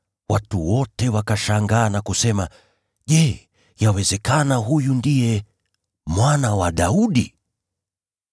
Watu wote wakashangaa na kusema, “Je, yawezekana huyu ndiye Mwana wa Daudi?”